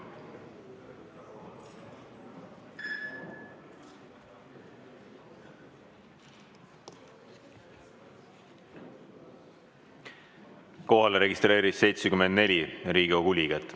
Kohale registreerus 74 Riigikogu liiget.